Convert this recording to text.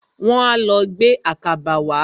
Wọ́n á lọ gbé àkàbà wá.